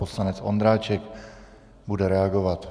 Poslanec Ondráček bude reagovat.